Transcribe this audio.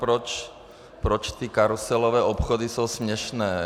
Proč ty karuselové obchody jsou směšné?